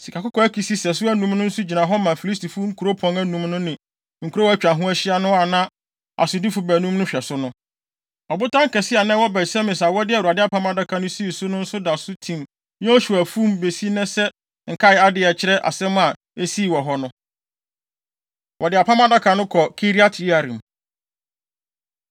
Sikakɔkɔɔ akisi sɛso anum no nso gyina hɔ ma Filistifo nkuropɔn anum no ne nkurow a atwa ho ahyia no a na asodifo baanum no hwɛ so no. Ɔbotan kɛse a na ɛwɔ Bet-Semes a wɔde Awurade Apam Adaka no sii no nso da so tim Yosua afum besi nnɛ sɛ nkae ade a ɛkyerɛ asɛm a esii wɔ hɔ no. Wɔde Apam Adaka No Kɔ Kiriat-Yearim